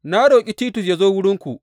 Na roƙi Titus ya zo wurinku.